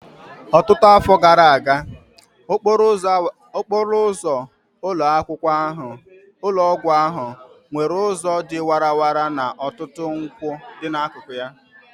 Ọtụtụ afọ gara aga, okporo ụzọ ụlọ ọgwụ ahụ nwere ụzọ dị warara na ọtụtụ nkwụ n'akụkụ